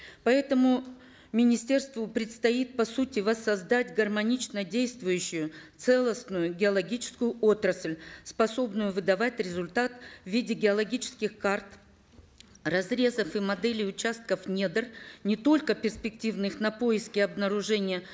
поэтому министерству предстоит по сути воссоздать гармонично действующую целостную геологическую отрасль способную выдавать результат в виде геологических карт разрезов и моделей участков недр не только перспективных на поиски обнаружения